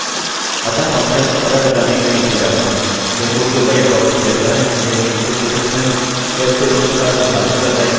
इसी के साथ हमारा ट्यूटोरियल समाप्त होता है अग्रिम फंक्शन्सfunctionsजैसे वापस रिटर्निंग वाल्यू के लिए कृपया फंक्शन्सfunctions पर दूसरे ट्यूटोरियल को देखें